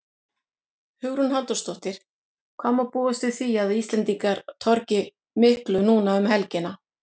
Hugrún Halldórsdóttir: Hvað má búast við því að Íslendingar torgi miklu núna um helgina?